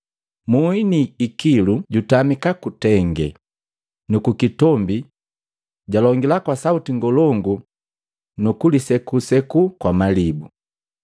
Muhi ni ikilu jutamika kutenge nukukitombi jalongila kwa sauti ngolongu nukulisekuseku kwa malibu.